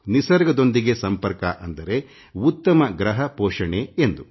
ನಿಸರ್ಗದೊಂದಿಗೆ ಸಂಪರ್ಕ ಅಂದರೆ ಉತ್ತಮ ಗ್ರಹ ಪೋಷಿಸುವುದು ಎಂದು